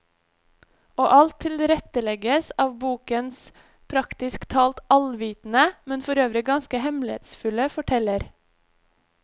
Og alt tilrettelegges av bokens praktisk talt allvitende, men forøvrig ganske hemmelighetsfulle forteller.